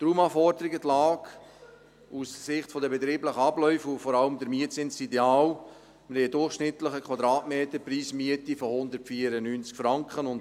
Die Raumanforderungen, die Lage aus Sicht der betrieblichen Abläufe und vor allem der Mietzins sind mit einem durchschnittlichen Quadratmetermietpreis von 194 Franken ideal.